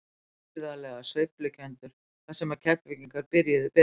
Gríðarlega sveiflukenndur þar sem Keflvíkingar byrjuðu betur.